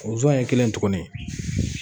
Sonzzɔn ye kelen tugunni.